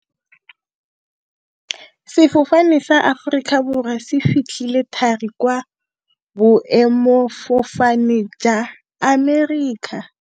Sefofane sa Aforika Borwa se fitlhile thari kwa boêmôfofane jwa Amerika.